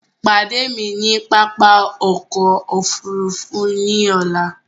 Pàdé mi ni pápá ọkọ̀ òfurufú ọlá!